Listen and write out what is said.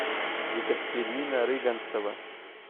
екатерина рыганцева